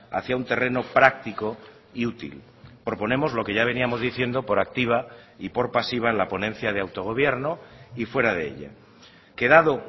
hacia un terreno práctico y útil proponemos lo que ya veníamos diciendo por activa y por pasiva en la ponencia de autogobierno y fuera de ella que dado